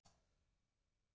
Við gætum dáið.